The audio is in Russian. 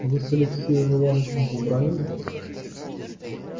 вы с алексеем иванычем побранились